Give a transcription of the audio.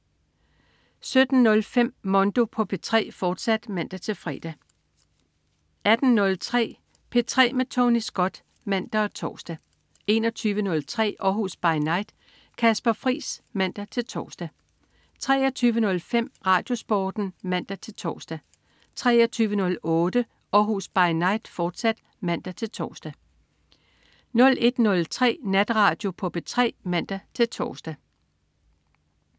17.05 Mondo på P3, fortsat (man-fre) 18.03 P3 med Tony Scott (man og tors) 21.03 Århus By Night. Kasper Friis (man-tors) 23.05 RadioSporten (man-tors) 23.08 Århus By Night, fortsat (man-tors) 01.03 Natradio på P3 (man-tors)